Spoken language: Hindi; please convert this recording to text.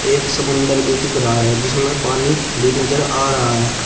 एक समुंदर भी दिख रहा है जिसमें पानी भी नजर आ रहा है।